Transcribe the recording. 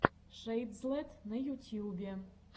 шэйдзлэт на ютьюбе